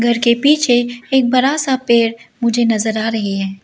घर के पीछे एक बड़ा सा पेड़ मुझे नजर आ रही है।